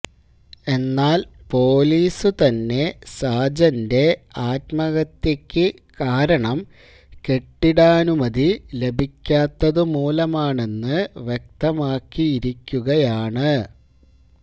എന്നാല് പൊലീസുതന്നെ സാജന്റെ ആത്മഹത്യക്ക് കാരണം കെട്ടിടാനുമതി ലഭിക്കാത്തതുമൂലമാണെന്ന് വ്യക്തമാക്കിയിരിക്കുകയാണ്